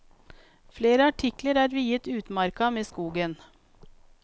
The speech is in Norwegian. Flere artikler er viet utmarka med skogen.